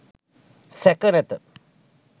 සැක නැත